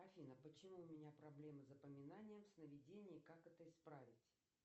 афина почему у меня проблема с запоминанием сновидений и как это исправить